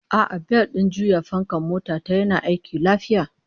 A'a, bel din juya fankan mota ta yana aiki lafiya